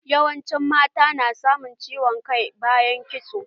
Yawancin mata na samun ciwon kai bayan kitso.